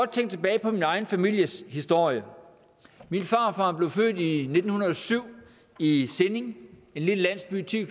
tænke tilbage på min egen families historie min farfar blev født nitten hundrede og syv i i sinding en lille landsby ti